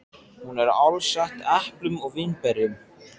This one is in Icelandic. Hún er alsett eplum og vínberjum.